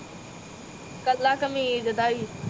ਕਲਾ ਕਮੀਜ਼ ਦਾ ਈ